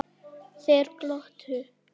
Þeir glottu.